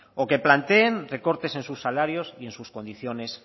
o que planteen recortes en sus salarios y en sus condiciones